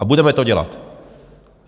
A budeme to dělat.